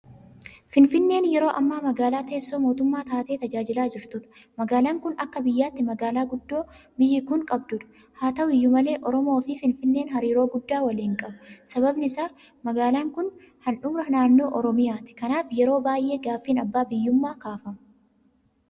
Finfinneen yeroo ammaa magaalaa teessoo mootummaa taatee tajaajilaa jirtudha. Magaalaan kun akka biyyaatti magaalaa guddoo biyyi kun qabdudha. Haata'u iyyuu malee Oromoofi Finfinneen hariiroo guddaa waliin qabu. Sababni isaas magaalaan kun handhuura naannoo Oromiyaati. Kanaaf yeroo baay'ee gaaffiin abbaa biyyummaa kaafama.